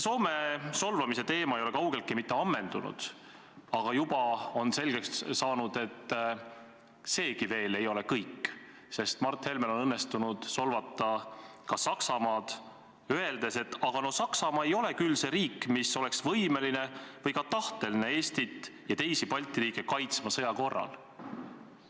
Soome solvamise teema ei ole kaugeltki mitte ammendunud, aga juba on selgeks saanud, et seegi ei ole veel kõik, sest Mart Helmel on õnnestunud solvata ka Saksamaad, öeldes, et no Saksamaa ei ole küll see riik, mis oleks võimeline või ka tahteline Eestit ja teisi Balti riike sõja korral kaitsma.